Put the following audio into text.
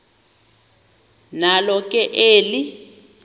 nalo ke eli